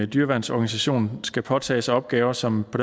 dyreværnsorganisation skal påtage sig opgaver som på